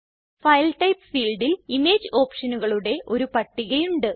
file type ഫീൽഡിൽ image ഓപ്ഷനുകളുടെ ഒരു പട്ടിക ഉണ്ട്